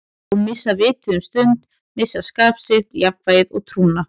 Og missa vitið um stund, missa skap sitt, jafnvægið og trúna.